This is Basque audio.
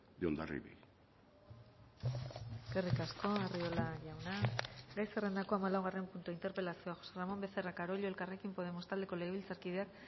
de hondarribi eskerrik asko arriola jauna gai zerrendako hamalaugarren puntua interpelazioa josé ramón becerra carollo elkarrekin podemos taldeko legebiltzarkideak